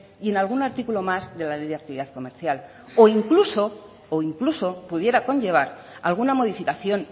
y en algún artículo más de la ley de actividad comercial o incluso pudiera conllevar alguna modificación